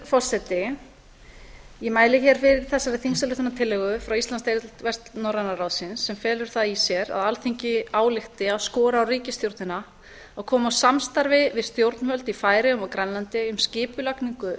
forseti ég mæli hér fyrir þessari þingsályktunartillögu frá íslandsdeild vestnorræna ráðsins sem felur það í sér að alþingi álykti að skora á ríkisstjórnina að koma á samstarfi við stjórnvöld í færeyjum og á grænlandi um skipulagningu